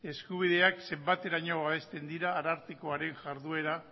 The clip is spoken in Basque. eskubideak zenbateraino babesten diren arartekoaren jarduera